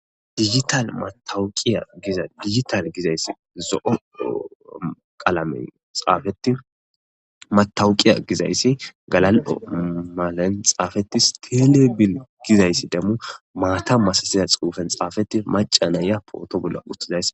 Dijitale matawukiya giza dijitale giza issi zo'o qaalame xaafeti matawukiya giza issi galal'o malanxaafetis telebir giza issi maca naya poto bolla utida.